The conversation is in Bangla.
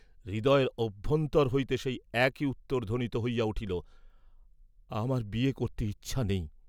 হৃদয়ের অভ্যন্তর হইতে সেই একই উত্তর ধ্বনিত হইয়া উঠিল, "আমার বিয়ে করতে ইচ্ছা নেই।"